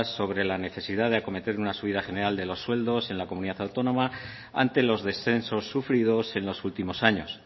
sobre la necesidad de acometer una subida general de los sueldos en la comunidad autónoma ante los descensos sufridos en los últimos años